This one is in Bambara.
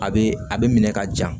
A bɛ a bɛ minɛ ka ja